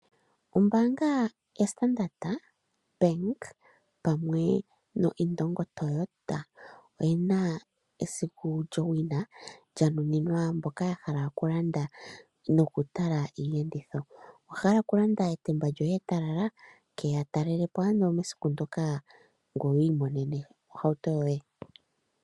Ombaanga ya Standard pamwe no Indongo Toyota oyina esiku lyowina lyanuninwa mboka yahala okulanda nokutala iiyenditho. Owahala okulanda etemba lyoye etalala? Keya talelapo nena mesiku ndjoka ndika ngoye wi imonene ohautu yoye.